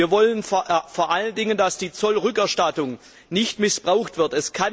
Wir wollen vor allen Dingen, dass die Zollrückerstattung nicht missbraucht wird.